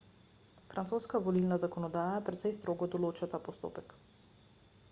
francoska volilna zakonodaja precej strogo določa ta postopek